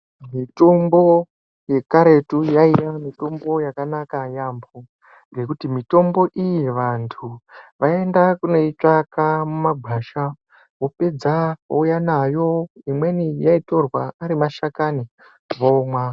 Mitombo yekaretu yainga mitombo yakanakayambo ngekuti mitombo iyi antu vaienda kunoitsvaka mumakwasha opedza ouya nayo , umweni yaitorwa arimashakani vomwa.